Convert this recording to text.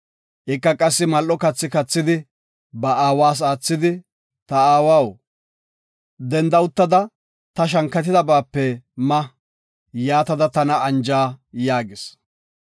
Ika qassi mal7o kathi kathidi ba aawas aathidi, “Ta aawaw, danda uttada ta shankatidabaape ma, yaatada tana anja” yaagis.